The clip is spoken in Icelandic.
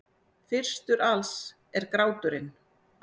Fyrstur alls er gráturinn.